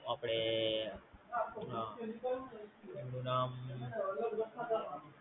આપડે શું નામ?